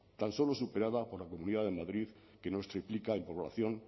tan solo superada por la comunidad de madrid que nos triplica en población